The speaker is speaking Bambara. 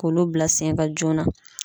K'olu bila sen kan joona.